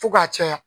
Fo ka caya